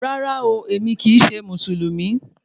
Rárá ooo, èmi kì í ṣe Mùsùlùmí